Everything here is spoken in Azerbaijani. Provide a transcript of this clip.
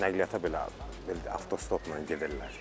Hətta nəqliyyata belə avtostopla gedirlər.